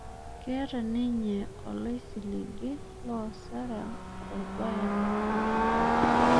Keeta ninye oloisiligi loosara orbae lenkeju